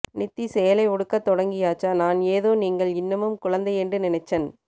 நித்தி சேலை உடுக்க தொடங்கியாச்சா நான் ஏதோ நீங்கள் இன்னமும் குழந்தையெண்டு நினைச்சன்